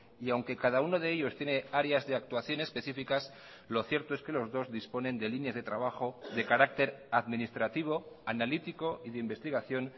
y aunque cada uno de ellos tiene áreas de actuación especificas lo cierto es que los dos disponen de líneas de trabajo de carácter administrativo analítico y de investigación